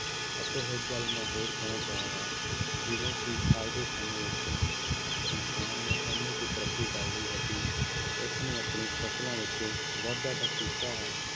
ਅਤੇ ਇੱਕ ਗੱਲ ਮੈਂ ਹੋਰ ਕਹਿਣਾ ਚਾਹਾਂਗਾ ਜਿਵੇਂ ਕਿ ਅੱਜ ਦੇ ਸਮੇਂ ਵਿੱਚ ਇਨਸਾਨ ਨੇ ਇੰਨੀ ਕੁ ਤਰੱਕੀ ਕਰ ਲਈ ਹੈ ਕਿ ਉਸ ਨੇ ਆਪਣੀ ਫ਼ਸਲਾਂ ਵਿੱਚ ਵਾਧਾ ਤਾਂ ਕੀਤਾ ਹੈ